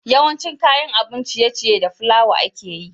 yawancin kayan abun ciye ciye da fulawa ake yi